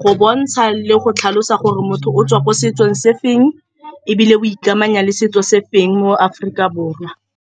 go bontsha le go tlhalosa gore motho o tswa ko setsong sefeng, ebile o ikamanya le setso sefeng mo Aforika Borwa.